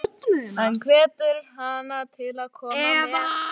Hann hvetur hana til að koma með.